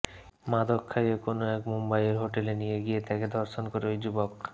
মাদক খাইয়ে কোনও এক মুম্বইয়ের হোটেলে নিয়ে গিয়ে তাকে ধর্ষণ করে ওই যুবক